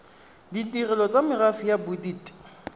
ditirelo tsa merafe ya bodit